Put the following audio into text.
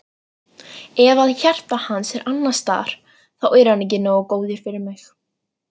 Ef að hjarta hans er annars staðar þá er hann ekki nógu góður fyrir mig.